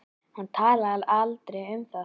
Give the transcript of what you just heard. Hann talaði aldrei um það.